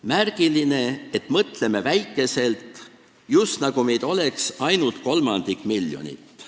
Märgiline selles mõttes, et me mõtleme väikeselt, just nagu meid oleks ainult kolmandik miljonit.